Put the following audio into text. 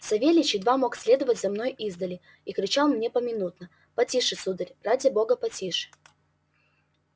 савельич едва мог следовать за мною издали и кричал мне поминутно потише сударь ради бога потише